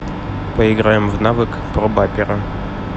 поиграем в навык пробапера